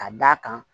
Ka d'a kan